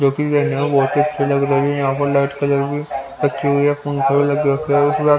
जो कि रे बहुत ही अच्छी लग रही है यहां पर लाइट कलर भी अच्छी हुई है पंखे भी लगे है इसबार--